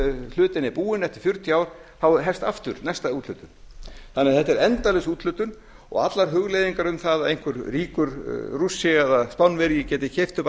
hlutinn er búinn eftir fjörutíu ár þá hefst aftur næsta úthlutun þannig að þetta er endalaus úthlutun og allar hugleiðingar um það að einhver ríkur rússi eða spánverji geti keypt upp